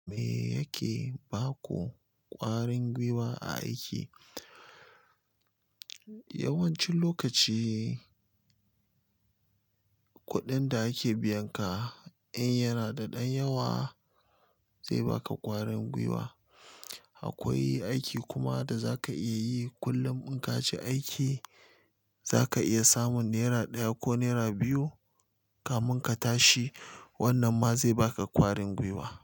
Me yake ba ku ƙwarin gwiwa a aiki? Yawancin lokaci kuɗin da ake biyan ka in yana da ɗan yawa zai baka ƙwarin gwiwa. Akwai aiki kuma da zaka iya yi kullum in ka je aiki zaka iya samun naira ɗaya ko naira biyu kamin ka tashi wanan ma zai baka kwarin gwiwa.